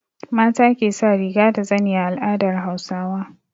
Mata ke sa riga da zani a al'adar Hausawa.